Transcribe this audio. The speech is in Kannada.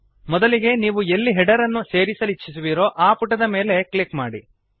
ಮೊದಲಿಗೆ ನೀವು ಎಲ್ಲಿ ಹೆಡರ್ ಅನ್ನು ಸೇರಿಸಲಿಚ್ಛಿಸುವಿರೋ ಆ ಪುಟದ ಮೇಲೆ ಕ್ಲಿಕ್ ಮಾಡಿ